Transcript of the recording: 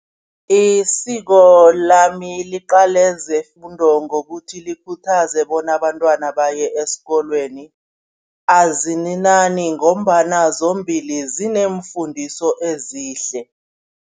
Isiko lami liqale zefundo ngokuthi likhuthaze bona abantwana baye esikolweni, azininani ngombana zombili zineemfundiso ezihle.